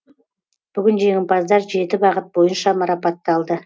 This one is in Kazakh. бүгін жеңімпаздар жеті бағыт бойынша марапатталды